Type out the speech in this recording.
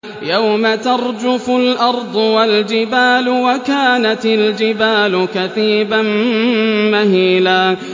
يَوْمَ تَرْجُفُ الْأَرْضُ وَالْجِبَالُ وَكَانَتِ الْجِبَالُ كَثِيبًا مَّهِيلًا